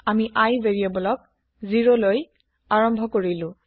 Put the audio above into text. আমি ভেৰিয়েবল iক ০লৈ আৰম্ভ কৰিলো